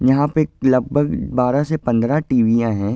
यहाँ पे लगभग बारह से पंद्रह टीवियाँ हैं।